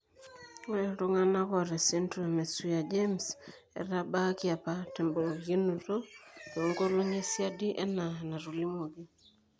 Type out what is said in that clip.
Ore iltung'anak oata esindirom eSwyer James etabaaski apa temborikinoto toonkolong'i esiadi enaa enatolimuoki.